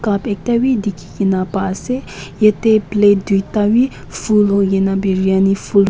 cup ekta bhi dikhi kena pa ase yetey plate duita wi full hoikena biryani full --